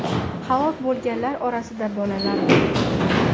Halok bo‘lganlar orasida bolalar bor.